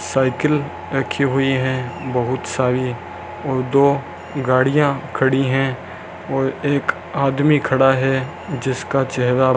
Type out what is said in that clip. cycle रखी हुई है बहुत सारी और दो गाड़ियां खड़ी है और एक आदमी खड़ा है जिसका चेहरा--